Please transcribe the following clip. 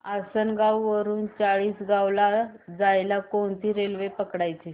आसनगाव वरून चाळीसगाव ला जायला कोणती रेल्वे पकडायची